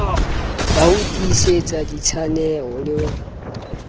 ya ho tiisetsa ditshaeno le